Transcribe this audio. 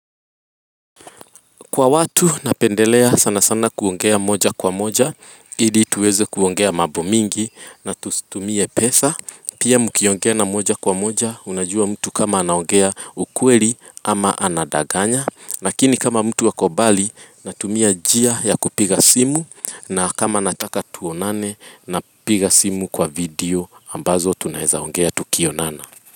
Kwa watu napendelea sana sana kuongea moja kwa moja ili tuweze kuongea mambo mingi na tusitumie pesa Pia mkiongea na moja kwa moja unajua mtu kama anaongea ukweli ama anadanganya Lakini kama mtu ako mbali natumia njia ya kupiga simu na kama nataka tuonane napiga simu kwa video ambazo tunawezaongea tukionana.